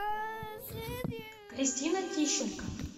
кристина тищенко